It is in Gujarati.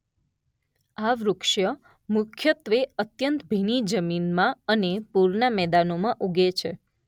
આ વૃક્ષ મુખ્યત્વે અત્યંત ભીની જમીનમાં અને પૂરનાં મેદાનોમાં ઊગે છે.